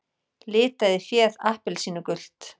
Litaði féð appelsínugult